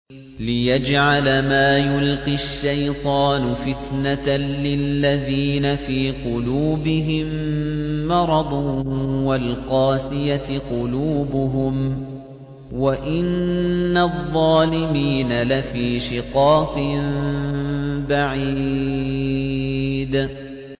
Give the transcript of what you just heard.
لِّيَجْعَلَ مَا يُلْقِي الشَّيْطَانُ فِتْنَةً لِّلَّذِينَ فِي قُلُوبِهِم مَّرَضٌ وَالْقَاسِيَةِ قُلُوبُهُمْ ۗ وَإِنَّ الظَّالِمِينَ لَفِي شِقَاقٍ بَعِيدٍ